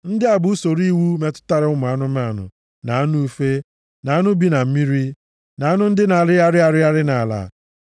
“ ‘Ndị a bụ usoro iwu metụtara ụmụ anụmanụ, na anụ ufe, na anụ bi na mmiri, na anụ ndị na-arịgharị arịgharị nʼala.